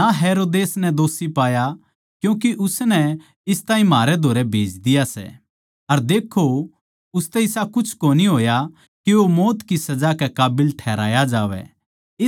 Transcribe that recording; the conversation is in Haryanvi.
ना हेरोदेस नै दोषी पाया क्यूँके उसनै इस ताहीं म्हारै धोरै भेज दिया सै अर देक्खो उसतै इसा कुछ कोनी होया के वो मौत की सजा के काबिल ठहराया जावै